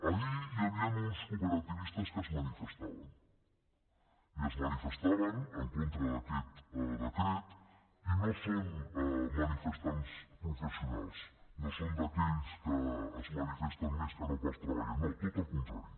ahir hi havien uns cooperativistes que es manifestaven i es manifestaven en contra d’aquest decret i no són manifestants professionals no són d’aquells que es manifesten més que no pas treballen no tot el contrari